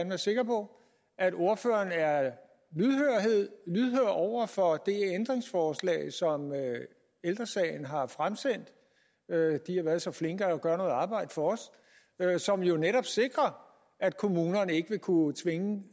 være sikker på at ordføreren er lydhør over for det ændringsforslag som ældre sagen har fremsendt de har været så flinke at gøre noget arbejde for os og som jo netop sikrer at kommunerne ikke vil kunne tvinge